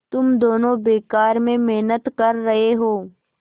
तुम दोनों बेकार में मेहनत कर रहे हो